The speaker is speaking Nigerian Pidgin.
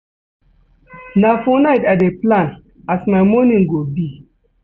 Na for night I dey plan as my morning go be.